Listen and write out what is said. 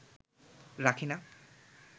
রাখি না